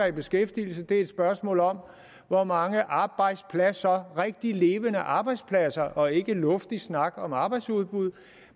i beskæftigelse er et spørgsmål om hvor mange arbejdspladser rigtig levende arbejdspladser og ikke luftig snak om arbejdsudbud